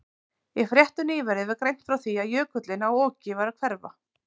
Í fréttum nýverið var greint frá því að jökullinn á Oki væri að hverfa.